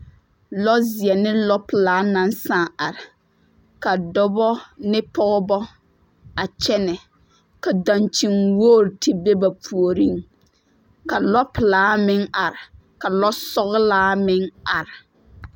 Lɔzeɛ ne lɔpelaa naŋ sãã are ka dɔbɔ ne pɔgebɔ a kyɛnɛ ka daŋkyini wogi te be ba puoriŋ ka lɔpelaa meŋ are ka lɔsɔgelaa meŋ are.